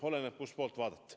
Oleneb, kust poolt vaadata.